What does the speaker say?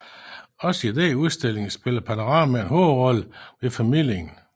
Også i denne udstilling spiller panoramaer en hovedrolle ved formidlingen